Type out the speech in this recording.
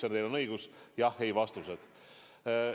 Ja teil on õigus, see eeldab jah- või ei-vastust.